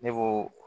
Ne ko